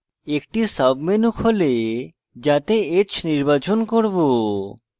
একটি সাবমেনু যাতে h নির্বাচন করব